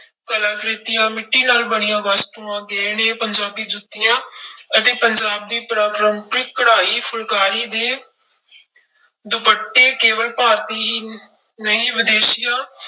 ਕਲਾਕ੍ਰਿਤੀਆਂ ਮਿੱਟੀ ਨਾਲ ਬਣੀਆਂ ਵਸਤੂਆਂ, ਗਹਿਣੇ, ਪੰਜਾਬੀ ਜੁੱਤੀਆਂ ਅਤੇ ਪੰਜਾਬ ਦੀ ਪਰਾ ਪਰੰਪਰਿਕ ਕਡਾਈ ਫੁਲਾਕਾਰੀ ਦੇ ਦੁਪੱਟੇ ਕੇਵਲ ਭਾਰਤੀ ਹੀ ਨਹੀਂ ਵਿਦੇਸ਼ੀਆਂ